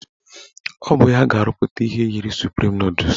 Ọ bụ ya ga-arụpụta ihe yiri suprim nọdụs